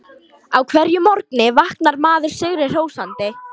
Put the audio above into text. Á hverjum morgni vaknar maður sigri hrósandi.